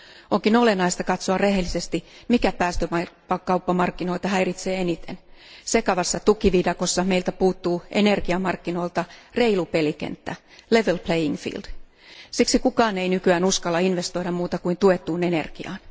Onkin olennaista katsoa rehellisesti, mikä päästökauppamarkkinoita häiritsee eniten sekavassa tukiviidakossa meiltä puuttuu energiamarkkinoilta reilu pelikenttä, level playing field siksi kukaan ei nykyään uskalla investoida kuin tuettuun energiaan.